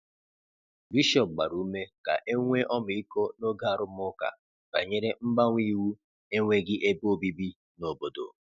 Bishọp gbara ume ka e nwee ọmịiko n’oge arụmụka banyere mgbanwe iwu enweghị ebe obibi n’obodo.